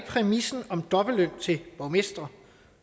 præmissen om dobbeltløn til borgmestre